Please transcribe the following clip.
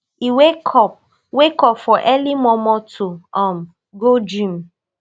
e wake up wake up for early mormor to um go gym